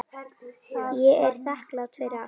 Ég er þakklát fyrir allt.